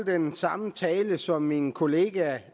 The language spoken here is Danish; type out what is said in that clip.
den samme tale som min kollega